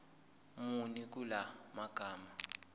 muni kula magama